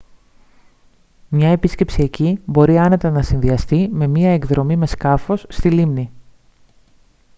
μια επίσκεψη εκεί μπορεί άνετα να συνδυαστεί με μια εκδρομή με σκάφος στη λίμνη